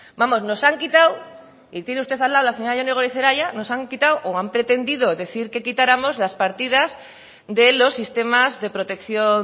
vamos nos han quitado y tiene usted al lado a la señora jone goirizelaia nos han quitado o han pretendido decir que quitáramos las partidas de los sistemas de protección